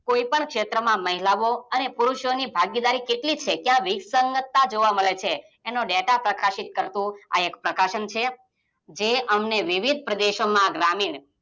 કોઈ પણ ક્ષેત્રમાં મહિલાઓ અને પુરુષોની ભાગેદારી કેટલી છે ક્યાંક વિકસંગતતા જોવા મળે છે એનો ડેટા પ્રકાશિત કરતુ આ એક પ્રકાશન છે જે અમને વિવિધ પ્રદેશોમાં ગ્રામીણ